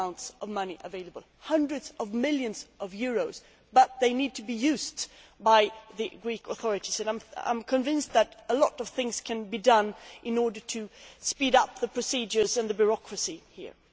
There are huge amounts of money available hundreds of millions of euros but they need to be used by the Greek authorities. I am convinced that a lot of things can be done in order to speed up the procedures and the bureaucracy here.